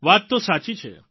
વાત તો સાચી છે